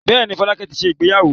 Bẹ́ẹ̀ ni, Fọlákẹ́ ti ṣe ìgbéyàwó.